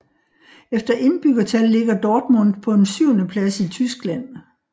Efter indbyggertal ligger Dortmund på en syvende plads i Tyskland